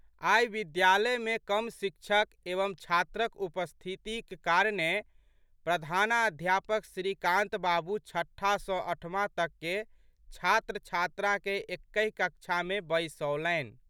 आइ विद्यालयमे कम शिक्षक एवं छात्रक उपस्थितक कारणेँ प्रधान अध्यापक श्रीकान्त बाबू छठा सँ अठमा तकके छात्रछात्राकेँ एकहि कक्षामे बैसौलनि।